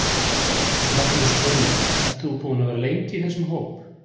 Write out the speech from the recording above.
Magnús Hlynur: Ert þú búinn að vera lengi í þessum hóp?